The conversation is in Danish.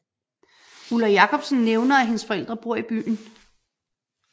Ulla Jacobsen nævner at hendes forældre bor i byen